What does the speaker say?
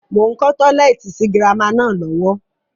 Mo ń kọ́ tọ́lẹ́ẹ́tì sì girama náà lọ́wọ́